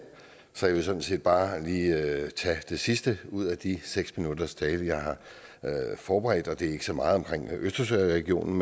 så jeg vil sådan set bare lige tage det sidste ud af de seks minutters tale jeg har forberedt det er ikke så meget om østersøregionen